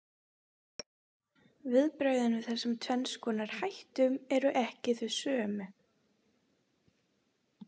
Viðbrögðin við þessum tvenns konar hættum eru ekki þau sömu.